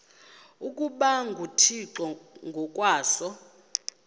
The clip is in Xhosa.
ukuba nguthixo ngokwaso